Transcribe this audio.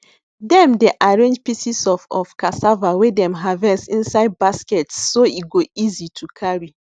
dem dey arrange pieces of of cassava wey dem harvest inside baskets so e go easy to carry